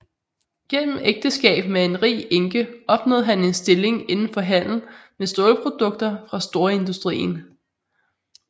Gennem ægteskab med en rig enke opnåede han en stilling indenfor handel med stålprodukter fra storindustrien